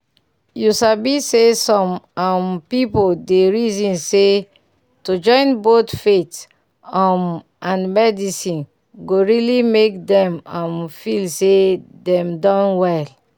you sabi say some um pipu dey reason say to join both faith um and medicine go really make dem um feel say dem don well.